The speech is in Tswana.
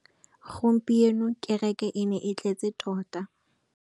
Gompieno kêrêkê e ne e tletse tota.